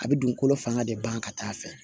A bɛ dugukolo fanga de ban ka taa fɛ